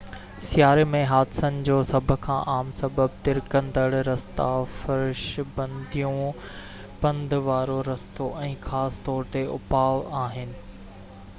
سياري ۾ حادثن جو سڀ کان عام سبب ترڪندڙ رستا، فرش بنديون پند وارو رستو ۽ خاص طور تي اپاءُ آهن